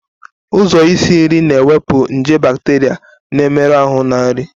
Ụzọ isi nri na-ewepụ nje bacteria na-emerụ ahụ na nri.